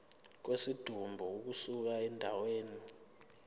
kwesidumbu ukusuka endaweni